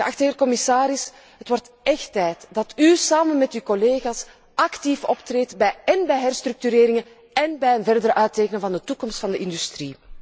Geachte commissaris, het wordt echt tijd dat u samen met uw collega's actief optreedt bij herstructureringen én bij het verder uittekenen van de toekomst van de industrie.